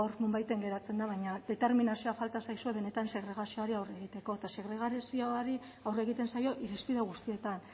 nonbaiten geratzen da determinazioa falta zaizue benetan segregazioari aurre egiteko eta segregazioari aurre egiten zaio irizpide guztietan